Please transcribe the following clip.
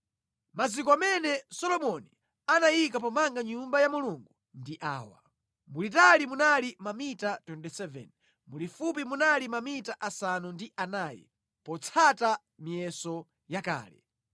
Maziko amene Solomoni anayika pomanga Nyumba ya Mulungu ndi awa: Mulitali munali mamita 27, mulifupi munali mamita asanu ndi anayi (potsata miyeso yakale).